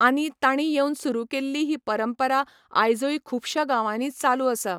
आनी तांणी येवन सुरू केल्ली ही परंपरा आयजूय खूबशां गांवांनी चालू आसा.